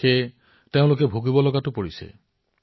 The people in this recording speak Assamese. আজি তেওঁলোকে পচ্ছাতাপ কৰিবলগীয়া হৈছে